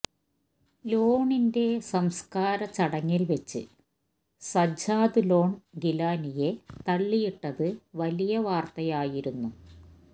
ലോണിൻെ സംസ്ക്കാര ചടങ്ങിൽവച്ച് സജ്ജാദ് ലോൺ ഗിലാനിയെ തള്ളിയിട്ടത് വലിയ വാർത്തായായിരുന്നു